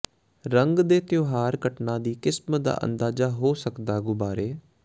ਰੰਗ ਦੇ ਤਿਉਹਾਰ ਘਟਨਾ ਦੀ ਕਿਸਮ ਦਾ ਅੰਦਾਜ਼ਾ ਹੋ ਸਕਦਾ ਗੁਬਾਰੇ